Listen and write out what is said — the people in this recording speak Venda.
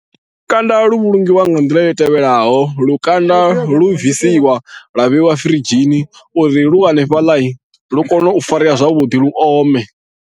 Lukanda lu vhulungiwa nga nḓila i tevhelaho lukanda lu bvisiwa lwa vheiwa firidzhini uri lu hanefhaḽa lu kone u farea zwavhuḓi lu ome.